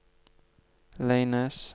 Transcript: Leines